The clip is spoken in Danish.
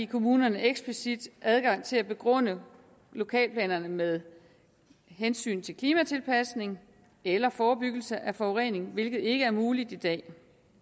kommunerne eksplicit adgang til at begrunde lokalplanerne med hensyn til klimatilpasning eller forebyggelse af forurening hvilket ikke er muligt i dag